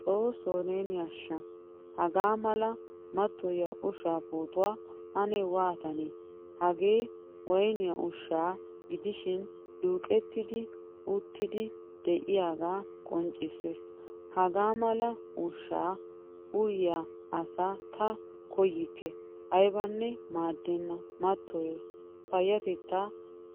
Xoossoo neeni asha! Hagaa mala matoyiyaa ushshaa pootuwaa ane waatane? Hagee woyniyaa ushsha gidishin duqqettidage uyettidi de'iyaga qonccisees. Hagaamala ushsha uyiyaa asa ta koyikke aybane maaddenna matoyees, payatetta